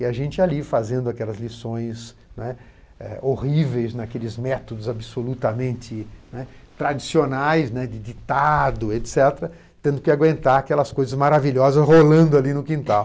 E a gente ali fazendo aquelas lições, né, horríveis, naqueles métodos absolutamente, né, tradicionais, de ditado, et cetera., tendo que aguentar aquelas coisas maravilhosas rolando ali no quintal.